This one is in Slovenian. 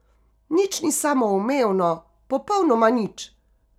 Nič ni samoumevno, popolnoma nič!